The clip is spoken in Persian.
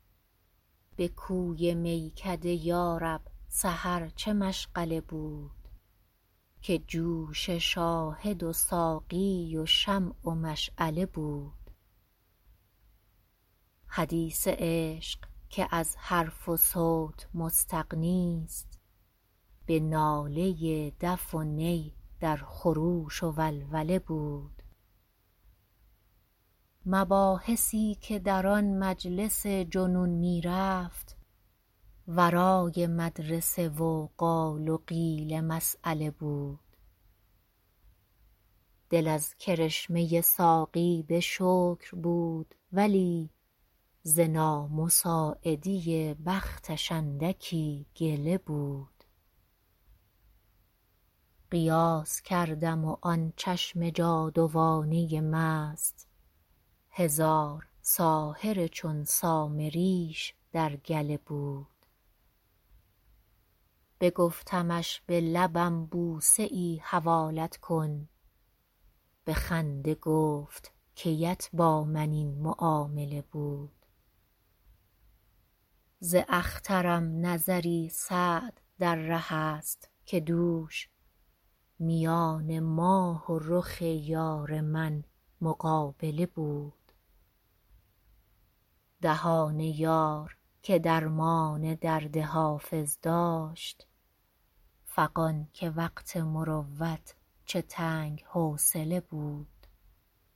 به کوی میکده یا رب سحر چه مشغله بود که جوش شاهد و ساقی و شمع و مشعله بود حدیث عشق که از حرف و صوت مستغنیست به ناله دف و نی در خروش و ولوله بود مباحثی که در آن مجلس جنون می رفت ورای مدرسه و قال و قیل مسأله بود دل از کرشمه ساقی به شکر بود ولی ز نامساعدی بختش اندکی گله بود قیاس کردم و آن چشم جادوانه مست هزار ساحر چون سامریش در گله بود بگفتمش به لبم بوسه ای حوالت کن به خنده گفت کی ات با من این معامله بود ز اخترم نظری سعد در ره است که دوش میان ماه و رخ یار من مقابله بود دهان یار که درمان درد حافظ داشت فغان که وقت مروت چه تنگ حوصله بود